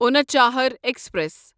Unchahar express